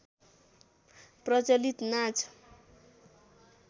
प्रचलित नाच